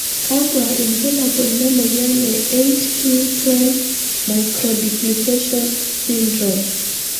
Kakwa ibulabul le moyian e 8q12 microduplication syndrome?